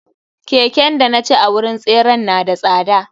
Keken danaci a wurin tseren na da tsada.